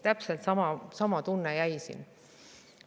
Täpselt sama tunne jäi siin.